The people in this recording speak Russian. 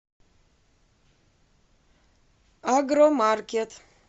агромаркет